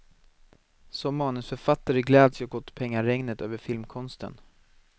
Som manusförfattare gläds jag åt pengaregnet över filmkonsten.